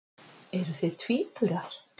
Eruð þið tvíburar?